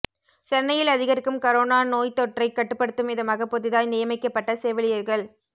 சென்னையில் அதிகரிக்கும் கரோனா நோய்த் தொற்றை கட்டுப்படுத்தும் விதமாக புதிதாய் நியமிக்கப்பட்ட செவிலியர்கள்